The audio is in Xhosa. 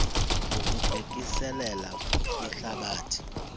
ngokubhekiselele kumhlathi a